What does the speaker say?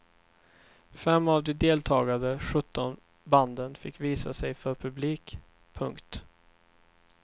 Fem av de deltagande sjutton banden fick visa sig för publik. punkt